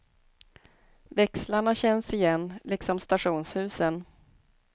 Växlarna känns igen, liksom stationshusen.